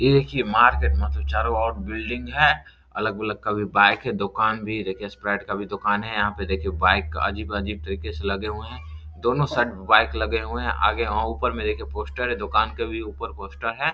ये देखिए मार्केट मतलब चारो ओर बिल्डिंग है अलग-अलग का भी बाइक है दुकान भी देखिए स्प्राइट का भी दुकान है यहाँ पे देखिए बाइक अजीब-अजीब तरीके से लगे हुए हैं दोनों साइड बाइक लगे हुए हैं आगे हाँ ऊपर में देखिए पोस्टर है दुकान के भी ऊपर पोस्टर है।